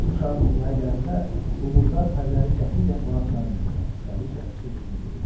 İkinci uşağım dünyaya gələndə bu murdar pəriləri qətiyyən qonaq çağırmayacam, Kraliça öz-özünə deyinirdi.